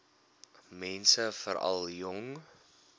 mense veral jong